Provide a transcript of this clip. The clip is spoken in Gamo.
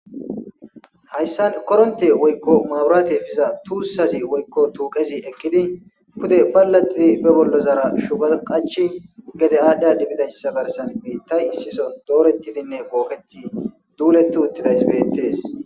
hayssan koronte woykko maaburaate biza tuussazi woykko tuuqezi ekkidi pude balla didi be bollo zaara shubaqachi gede aadhdhiya dibbidayssa garsan i tay issiso doorettidinne booketi duuleti uttida isbettees